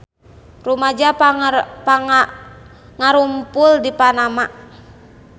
Rumaja ngarumpul di Panama